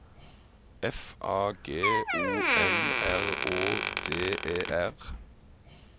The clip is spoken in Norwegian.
F A G O M R Å D E R